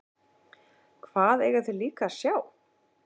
Hvað eiga þeir líka að sjá?